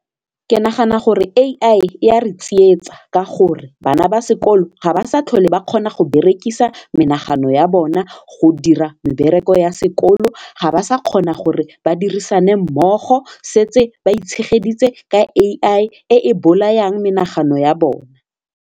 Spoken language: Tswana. Ke nagana gore AI e a re tsietsa ka gore bana ba sekolo ga ba sa tlhole ba kgona go berekisa menagano ya bona go dira mebereko ya sekolo ga ba sa kgona gore ba dirisane mmogo setse ba itshegeletse ka AI e e bolayang menagano ya bona.